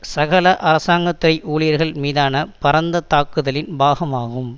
சகல அரசாங்க துறை ஊழியர்கள் மீதான பரந்த தாக்குதலின் பாகமாகும்